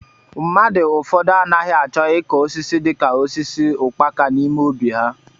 Mmadụ ụfọdụ anaghị achọ ịkụ osisi dị ka osisi ukpaka n'ime óbị ha.